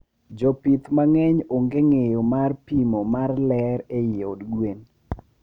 Jopih mangeny onge ngeyo mar npimo mar lerr eiy od gwen